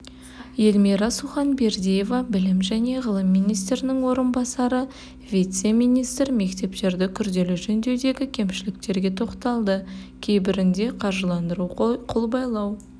эльмира суханбердиева білім және ғылым министрінің орынбасары вице-министр мектептерді күрделі жөндеудегі кемшіліктерге тоқталды кейбірінде қаржыландыру қолбайлау